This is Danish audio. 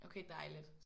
Okay dejligt